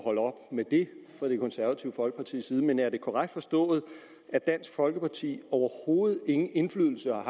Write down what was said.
holde op med fra det konservative folkepartis side men er det korrekt forstået at dansk folkeparti overhovedet ingen indflydelse